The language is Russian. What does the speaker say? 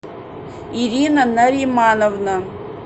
ирина наримановна